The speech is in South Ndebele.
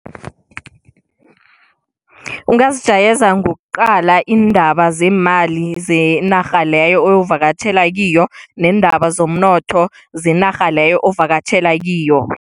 Ungazijayeza ngokuqala iindaba zemali zenarha leyo oyokuvakatjhela kiyo, neendaba zomnotho zenarha leyo ovakatjhela kiyo.